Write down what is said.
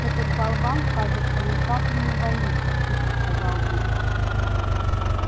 этот болван кажется ни капли не боится тихо сказал билл